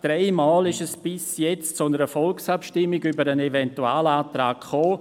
Dreimal kam es bisher zu einer Volksabstimmung über den Eventualantrag.